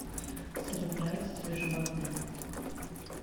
салют нравится тебе животные